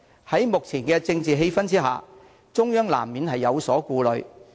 在目前的政治氣氛下，中央難免有所顧慮。